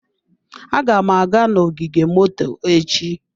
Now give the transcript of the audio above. Aga m aga n'ogige moto echi.